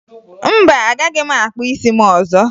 Mba, agaghị m akpụ isi m ọzọ